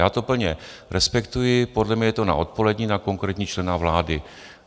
Já to plně respektuji, podle mě je to na odpolední, na konkrétního člena vlády.